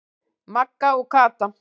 Magga og Kata.